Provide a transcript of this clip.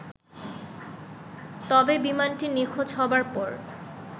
তবে বিমানটি নিখোঁজ হবার পর